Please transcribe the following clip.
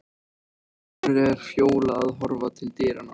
En af hverju er Fjóla að horfa til dyranna?